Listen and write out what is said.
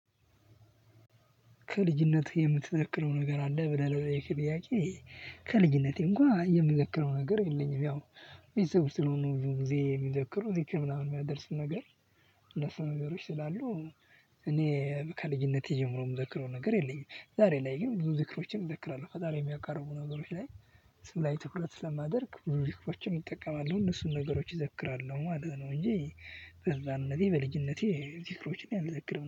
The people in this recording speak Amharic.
ከልጅነትህ የምትዘክረው ነገር አለ ብለህ ለጠየከኝ ጥያቄ? ከልጅነቴ እንኳን የምዘክረው ነገር የለኝም። ያው ቤተሰቦች ስለሆኑ ብዙ ጊዜ የሚዘክሩ እዚህ ከምናምን የሚያደርስ ነገር። ለሰው ነገሮች ስላሉ። እኔ ከልጅነቴ ጀምሮ የምዘክረው ነገር የለኝም። ዛሬ ላይ ግን ብዙ ዝክሮችን እዘክራለሁ ፈጣሪ የሚያቃርቡ ነገሮች ላይ። እሱ ላይ ትኩረት ስለማደርግ ሪስኮችን እጠቀማለሁ እነሱን ነገሮች እዘክራለው ማለት ነው። እንጂ በህፃንነቴ በልጅነቴ ዝክሮችን አልዘክርም